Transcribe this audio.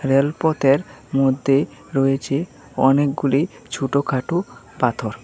রেলপথের মধ্যে রয়েছে অনেকগুলি ছোটখাটো পাথর।